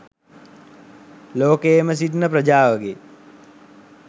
ලෝකයේම සිටින ප්‍රජාවගේ